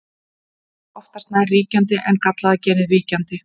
Það yrði oftast nær ríkjandi en gallaða genið víkjandi.